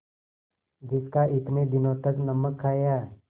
जिसका इतने दिनों तक नमक खाया